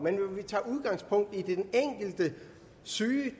men tager udgangspunkt i den enkelte syge